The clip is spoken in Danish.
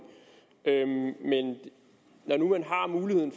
men når nu man har muligheden